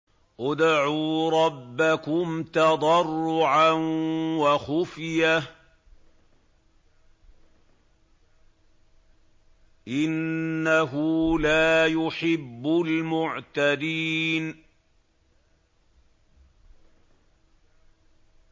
ادْعُوا رَبَّكُمْ تَضَرُّعًا وَخُفْيَةً ۚ إِنَّهُ لَا يُحِبُّ الْمُعْتَدِينَ